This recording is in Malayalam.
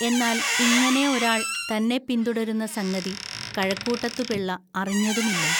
എന്നാൽ ഇങ്ങനെ ഒരാൾ തന്നെ പിന്തുടരുന്ന സംഗതി കഴക്കൂട്ടത്തുപിള്ള അറിഞ്ഞതുമില്ല